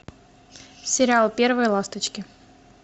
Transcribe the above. сериал первые ласточки